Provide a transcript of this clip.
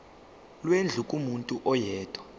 lwendlu kumuntu oyedwa